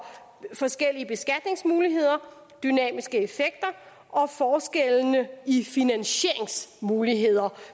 forskellige beskatningsmuligheder dynamiske effekter og forskelle i finansieringsmuligheder